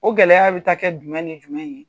O gɛlɛya bɛ taa kɛ jumɛn ni jumɛn ye?